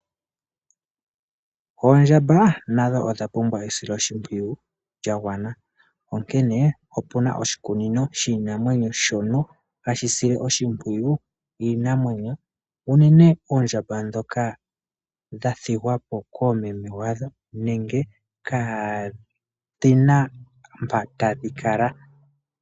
Oondjamba nadho odha pumbwa esiloshipwiyu lya gwna onkene opuna oshikunino shiinamwenyo shono hashi sile oshipwiyu iinamwenyo unene oondjamba dhoka dha thigwa po koomeme yadho nenge kadhina mpoka tadhi kala.